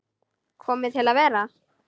Komin til að vera?